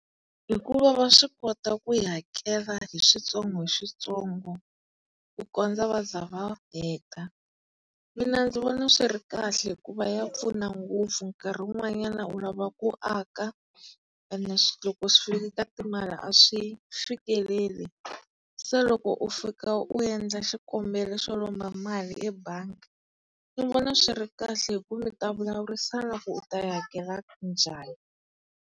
Hikuva va swi kota ku yi hakela hi switsongo hi switsongo ku kondza va za va heta. Mina ndzi vona swi ri kahle hikuva ya pfuna ngopfu nkarhi wun'wanyana u lava ku aka ene loko swi fika ka timali a swi fikeleli. Se loko u fika u endla xikombelo xo lomba mali ebangi, ni vona swi ri kahle hi ku mi ta vulavurisana ku u ta yi hakela njhani.